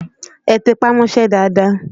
Ẹ tẹpá mọ́ṣẹ́ dáadáa!